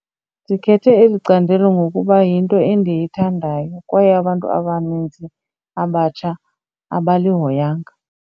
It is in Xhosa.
Ndikhethe eli candelo ngokuba yinto endiyithandayo kwaye abantu abaninzi abatsha abalihoyanga.